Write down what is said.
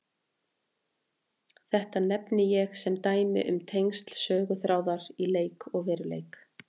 Þetta nefni ég sem dæmi um tengsl söguþráðar í leik og veruleik.